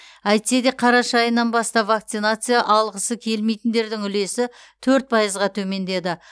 әйтсе де қараша айынан бастап вакцинация алғысы келмейтіндердің үлесі төрт пайызға төмендеді